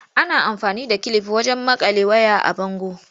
Ana amfani da kilif wajen maƙale ways a bango.